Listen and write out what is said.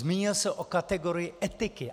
Zmínil se o kategorii etiky.